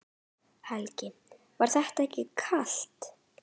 Helga: Var þetta ekki kalt?